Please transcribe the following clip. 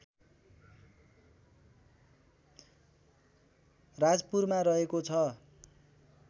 राजपुरमा रहेको छ